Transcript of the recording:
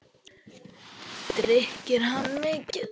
Drykki hann mikið?